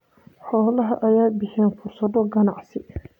Xoolaha ayaa bixiya fursado ganacsi.